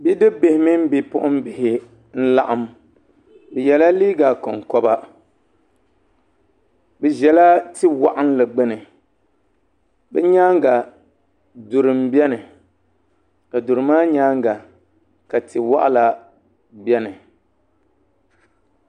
bi dibi bihi mini bipuɣin bihi n laɣim bɛ ye la liiga kon koba bɛ ʒela ti- waɣinli gbuni bɛ nyaaga duri m beni ka duri maa nyaaga ka ti- waɣila beni